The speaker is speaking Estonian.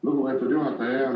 Lugupeetud juhataja!